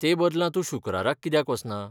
ते बदला तूं शुक्राराक कित्याक वचना?